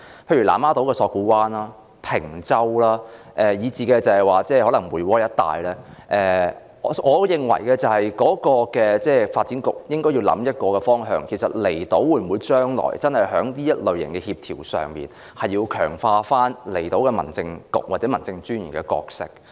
例如南丫島索罟灣、坪洲以至梅窩一帶，我認為發展局應該考慮一個方向，就是政府將來會否在這類型的工作協調上，強化離島的民政事務處或民政事務專員的角色？